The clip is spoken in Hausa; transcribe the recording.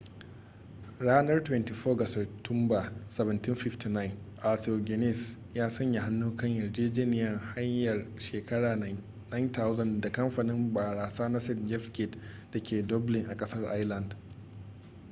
ranar 24 ga satumba 1759 arthur guinness ya sanya hannu kan yarjejeniyar hayar shekara 9,000 da kamfanin barasa na st jame's gate da ke dublin a kasar ireland